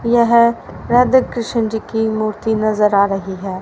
यह राधा कृष्ण जी की मूर्ति नजर आ रही है।